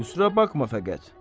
Qüsura baxma fəqət.